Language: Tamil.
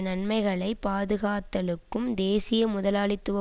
நன்மைகளை பாதுகாத்தலுக்கும் தேசிய முதலாளித்துவ